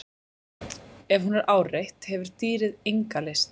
Ef hún er áreitt hefur dýrið enga lyst.